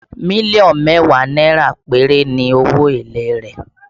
Million mẹ́wàá náírà péré ni owó èlé rẹ̀